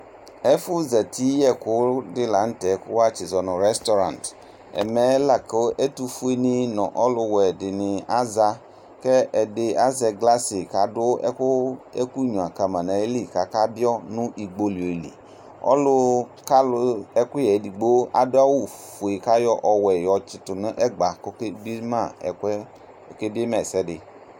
Ɛƒʊ zati yɛkʊdi la nu tɛ ku azuɛ nu restaurant ɛmɛ la ku ɛtʊfʊe nu ɔlu wuɛni za ɛdi azɛ glacin ku adu ɛkunya nayi kama nayi kaka biɔ nu igbolioli ɔlukalu ɛkuyɛ edigbo adu awu ɔwuɛ yɔtsitʊ nɛgba kʊ ɔkebie ma ɛsɛdi